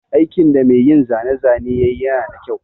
Aikin da mai yin zane zane yayi nada kyau.